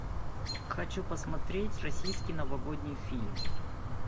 хочу посмотреть российский новогодний фильм